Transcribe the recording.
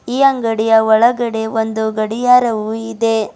ಈ ಅಂಗಡಿಯ ಒಳಗಡೆ ಒಂದು ಗಡಿಯಾರವು ಇದೆ.